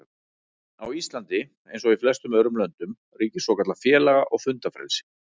Á Íslandi, eins og í flestum öðrum löndum, ríkir svokallað félaga- og fundafrelsi.